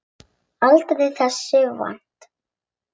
Aldrei þessu vant.